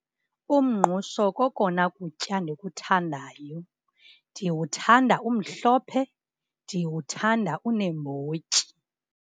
Umngqusho kokona kutya ndikuthandayo. Ndiwuthanda umhlophe, ndiwuthanda uneembotyi.